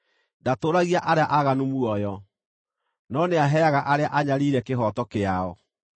Ndatũũragia arĩa aaganu muoyo, no nĩaheaga arĩa anyariire kĩhooto kĩao.